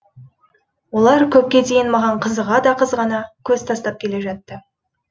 олар көпке дейін маған қызыға да қызғана көз тастап келе жатты